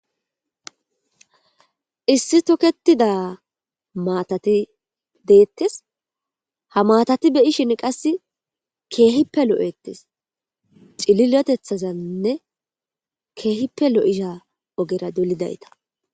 Issi tokettida matati detees.haa matati be'ishshinn qasi kehippe lo'etees.cilileteththazanni kehippe lo'iza ogera dolizayitta.